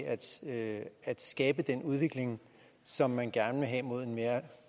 at at skabe den udvikling som man gerne vil have mod en mere